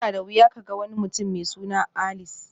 Yana da wuya ka ga wani mutum mai suna Alice